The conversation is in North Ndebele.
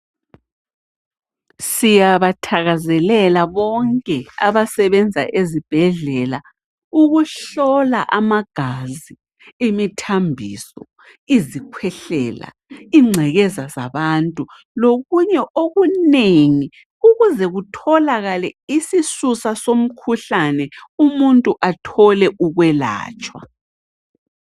Siyabathakazelela bonke abasebenza ezibhedlela ukuhlola amagazi, imithambiso, izikhwehlela, ingcekeza zabantu, lokunye okunengi ukuze kutholakale isisusa somkhuhlane umuntu athole ukwelatshwa.